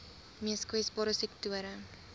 mees kwesbare sektore